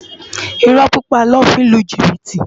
Irò pipá lò fi n lú jibiti